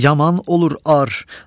yaman olur ar,